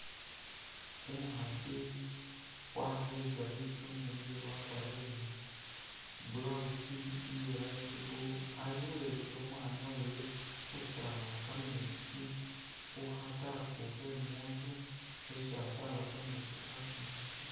Umukhaasi waleyisa litsuune lyewe wakealire ni blousi iya light blue ali khulekela umwaana wewe khusaaba kameetsi khukha tap khemu nzu khesi asaaba kameetsi kaatsa mukha sink